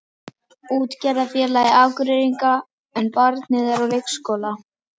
Útgerðarfélagi Akureyringa, en barnið er á leikskóla.